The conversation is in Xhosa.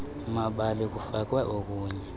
mabali kufakwe okunye